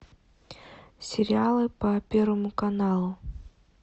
сериалы по первому каналу